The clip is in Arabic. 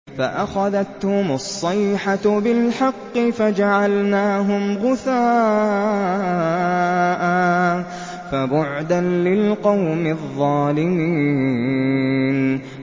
فَأَخَذَتْهُمُ الصَّيْحَةُ بِالْحَقِّ فَجَعَلْنَاهُمْ غُثَاءً ۚ فَبُعْدًا لِّلْقَوْمِ الظَّالِمِينَ